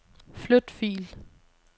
Flyt fil.